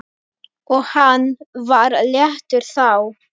Og hann var léttur þá.